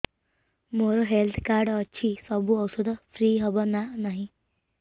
ମୋର health card ଅଛି ସବୁ ଔଷଧ ଫ୍ରି ହବ ନା ନାହିଁ